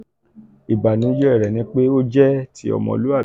ibanujẹ rẹ ni pe o jẹ ti omoluabi.